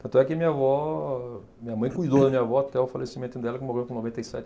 Tanto é que minha vó, minha mãe cuidou da minha avó até o falecimento dela, que morreu com noventa e sete.